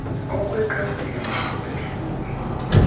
okwekati emhlophe ehlungwini